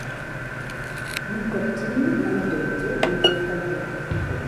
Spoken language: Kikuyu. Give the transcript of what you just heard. Nicotine na indo ingĩ nĩ ithũkagia mahũri.